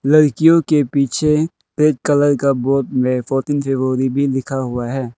लड़कियों के पीछे रेड कलर का बोर्ड में फोर्टीन फेब्रुअरी भी लिखा हुआ है।